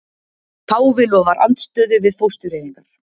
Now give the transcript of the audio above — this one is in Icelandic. Páfi lofar andstöðu við fóstureyðingar